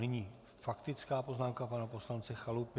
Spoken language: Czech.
Nyní faktická poznámka pana poslance Chalupy.